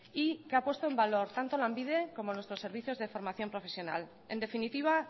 y que ha puesto en valor tanto lanbide como nuestros servicios de formación profesional en definitiva